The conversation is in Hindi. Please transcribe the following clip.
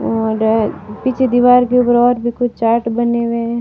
और पीछे दीवार के ऊपर और भी कुछ चार्ट बने हुए हैं।